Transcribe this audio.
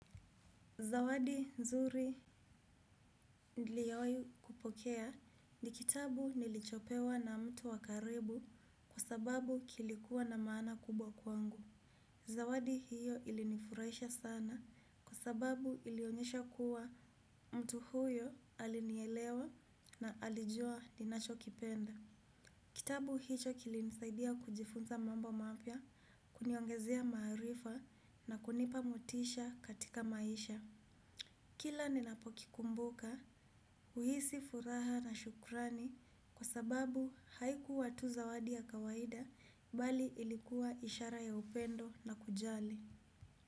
Zawadi nzuri niliowai kupokea ni kitabu nilichopewa na mtu wa karibu kwa sababu kilikuwa na maana kubwa kwangu. Zawadi hiyo ilinifurahisha sana kwa sababu ilionyesha kuwa mtu huyo alinielewa na alijua ninachokipenda. Kitabu hicho kilinisaidia kujifunza mambo mapya, kuniongezea maarifa na kunipa motisha katika maisha. Kila ninapokikumbuka, huhisi furaha na shukrani kwa sababu haikuwa tu zawadi ya kawaida bali ilikuwa ishara ya upendo na kujali.